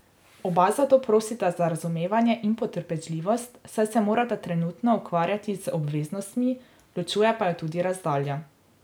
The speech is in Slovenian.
Oba zato prosita za razumevanje in potrpežljivost, saj se morata trenutno ukvarjati z obveznostmi, ločuje pa ju tudi razdalja.